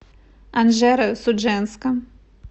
анжеро судженска